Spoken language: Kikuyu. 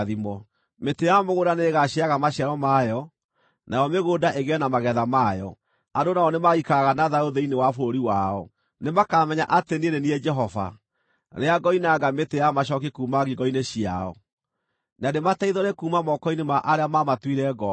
Mĩtĩ ya mũgũnda nĩĩgaciaraga maciaro mayo, nayo mĩgũnda ĩgĩe na magetha mayo; andũ nao nĩmagaikaraga na thayũ thĩinĩ wa bũrũri wao. Nĩmakamenya atĩ niĩ nĩ niĩ Jehova, rĩrĩa ngoinanga mĩtĩ ya macooki kuuma ngingo-inĩ ciao, na ndĩmateithũre kuuma moko-inĩ ma arĩa maamatuire ngombo.